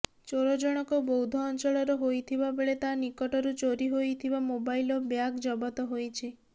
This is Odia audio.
ଚୋରଜଣକ ବୌଦ୍ଧ ଅଂଚଳର ହୋଇଥିବା ବେଳେ ତା ନିକଟରୁ ଚୋରି ହୋଇଥିବା ମୋବାଇଲ ଓ ବ୍ୟାଗ୍ ଜବତ ହୋଇଛି